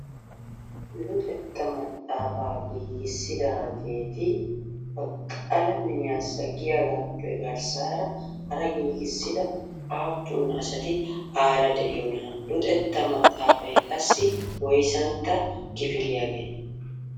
luxetta maxaafaa giigisidaageti ha qalaamiyaasa giyaagappe garssaara hara giigisida aappun asati aara de'iyoonaa? luxxetta maxaafay qassi woysantta kifiliyaagee?